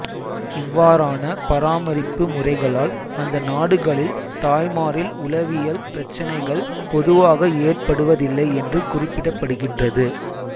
இவ்வாறான பராமரிப்பு முறைகளால் அந்த நாடுகளில் தாய்மாரில் உளவியல் பிரச்சனைகள் பொதுவாக ஏற்படுவதில்லை என்று குறிப்பிடப்படுகின்றது